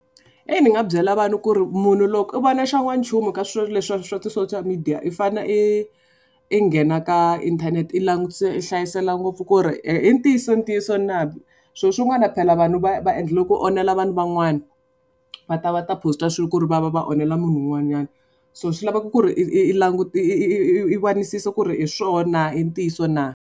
E ni nga byela vanhu ku ri munhu loko u vona xa n'wanchumu ka swilo leswi wa ti social media, i fanele i i nghena eka inthanete i langutisa i hlayisela ngopfu ku ri i ntiyiso ntiyiso na. Swilo swin'wana phela vanhu va va endlela ku onhela vanhu van'wana. Va ta va ta post-a swilo ku ri va va onhela munhu un'wanyana. So swi laveka ku ri i i langutisisa ku ri hi swona hi swona na, i ntiyiso na.